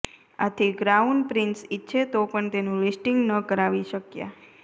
આથી crown prince ઇચ્છે તો પણ તેનું લિસ્ટિંગ ન કરાવી શક્યા